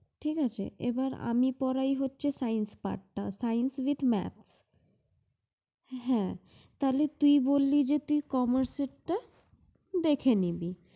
ঠিক আছে, এবার আমি পড়াই হচ্ছে science part টা। science এর math । হ্যাঁ তাইলে তুই বললি যে, তুই commerce এর টা দেখে নিবি।